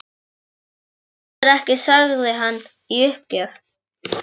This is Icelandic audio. Þú skilur ekki sagði hann í uppgjöf.